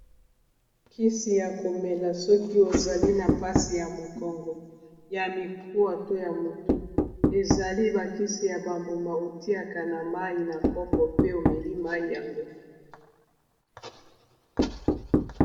kisi ya komela soki ozali na mpasi ya mokongo ya mikuwa to ya motu ezali bakisi ya bambuma otiaka na mai na kopo pe omeli mai yango